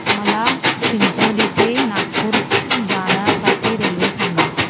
मला चिचोली ते नागपूर जाण्या साठी रेल्वे सांगा